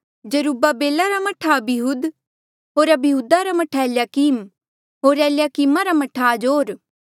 जरुब्बाबिल रा मह्ठा अबीहूद होर अबीहूदा रा मह्ठा एलयाकीम होर एलयाकीम रा मह्ठा अजोर